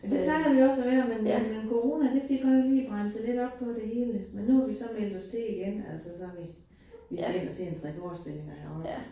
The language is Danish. Det plejer vi også at være, men øh men corona det fik godt nok bremset lidt op på det hele, men nu har vi så meldt os til igen altså som i vi skal ind og se en 3 forestillinger herovre